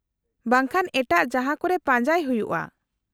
-ᱵᱟᱝ ᱠᱷᱟᱱ ᱮᱴᱟᱜ ᱡᱟᱦᱟᱸᱠᱚᱨᱮ ᱯᱟᱡᱟᱸᱭ ᱦᱩᱭᱩᱜᱼᱟ ᱾